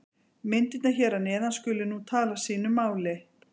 Myndirnar hér að neðan skulu nú tala sínu máli.